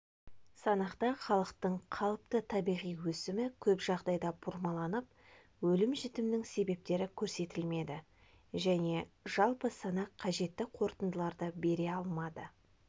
санақта халықтың қалыпты табиғи өсімі көп жағдайда бұрмаланып өлім-жітімнің себептері көрсетілмеді және жалпы санақ қажетті қорытындыларды бере алмады